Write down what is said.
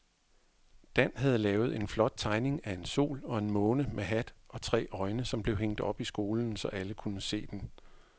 Dan havde lavet en flot tegning af en sol og en måne med hat og tre øjne, som blev hængt op i skolen, så alle kunne se den.